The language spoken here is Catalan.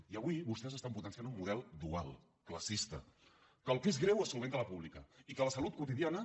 i avui vostès estan potenciant un model dual classista en què el que és greu es soluciona a la pública i que a la salut quotidiana